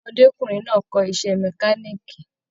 Ọmọdékunrin náà kọ iṣẹ mẹ̀kániikí.